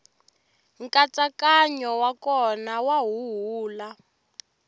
nkatsakanyo wa kona wa huhula